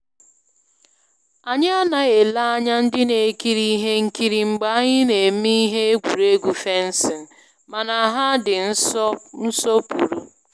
Anyị anaghị ele anya ndị na ekiri ihe nkiri mgbe anyị na-eme ihe egwuregwu fencing, mana ha di nsopuru